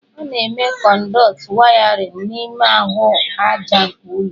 A na-eme kọnduitị wayarịn n'ime ahụ aja nke ụlọ